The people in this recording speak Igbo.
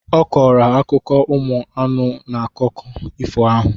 Ọ kọrọ ha akụkọ ụmụ anụ n’akụkọ ifo ahụ